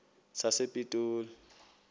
sasepitoli